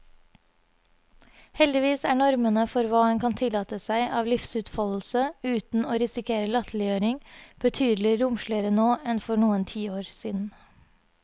Heldigvis er normene for hva en kan tillate seg av livsutfoldelse uten å risikere latterliggjøring, betydelig romsligere nå enn for noen tiår siden.